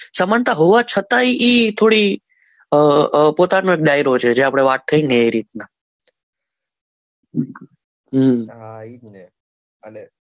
સમાનતા હોવા છતાં એ થોડી પોતાના ડાયરાઓ છે જે આપણે વાત કરીને એ રીતના હા એ જ ને અને